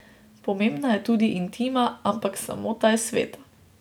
Pomembna je tudi intima, ampak samota je sveta.